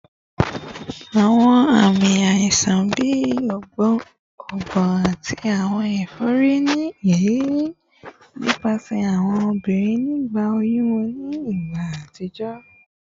Awọn aami aisan bi ọgbun ati awọn efori ni iriri nipasẹ awọn obirin nigba oyun wọn ni igba atijọ